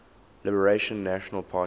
liberal national party